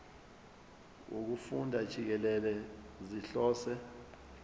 wokufunda jikelele sihlose